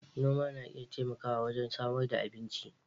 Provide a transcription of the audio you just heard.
Noma na iya taimakawa wajen samar da abinci.